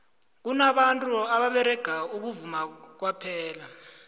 kunabantu ababerega ukuvuma kwaphela